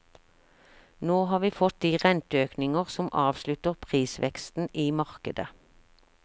Nå har vi fått de renteøkninger som avslutter prisveksten i markedet.